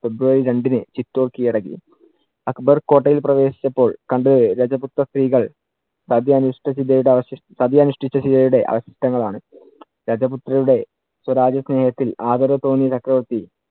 ഫെബ്രുവരി രണ്ടിന് ചിറ്റോര്‍ കിഴടക്കി. അക്ബർ കോട്ടയിൽ പ്രവേശിച്ചപ്പോൾ കണ്ടത് രജപുത്ര സ്ത്രീകൾ സതിയനുഷ്ഠിച്ച ശിലയുടെ അവ~ സതിയനുഷ്ടിച്ച ശിലയുടെ അവശിഷ്ടങ്ങൾ ആണ്. രജപുത്രരുടെ സ്വരാജ്യ സ്നേഹത്തിൽ ആദരവു തോന്നിയ ചക്രവർത്തി